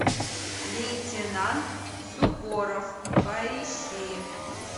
лейтенант суворов поищи